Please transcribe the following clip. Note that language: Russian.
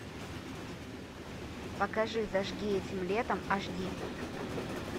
покажи зажги этим летом аш ди